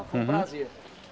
Uhum Foi um prazer.